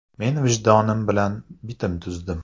Men vijdonim bilan bitim tuzdim.